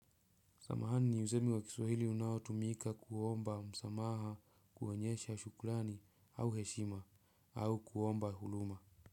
Samahani ni usemi wa kiswahili unaotumika kuomba msamaha kuonyesha shukrani au heshima au kuomba huruma.